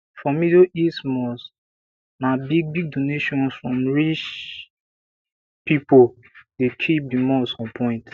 for middle east mosques na bigbig donations from rich pipo dey keep di mosque on point